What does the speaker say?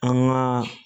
An ŋaa